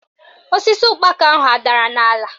Osisi ụkpaka ahụ adara n'ala?